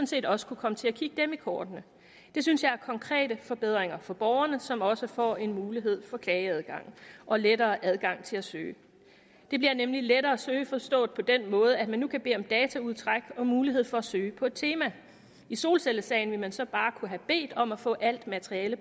set også kunne komme til at kigge dem i kortene det synes jeg er konkrete forbedringer for borgerne som også får en mulighed for klageadgang og lettere adgang til at søge det bliver nemlig lettere at søge forstået på den måde at man nu kan bede om dataudtræk og har mulighed for at søge på et tema i solcellesagen ville man så bare kunne have bedt om at få alt materiale